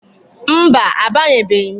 Mba, abanyebeghi m.